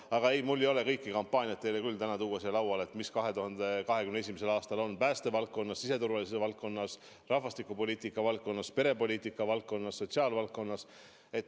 Aga minul ei ole küll täna võimalik siin lauale tuua kõiki kampaaniaid, mis 2021. aastal on päästevaldkonnas, siseturvalisuse valdkonnas, rahvastikupoliitika valdkonnas, perepoliitika valdkonnas, sotsiaalvaldkonnas.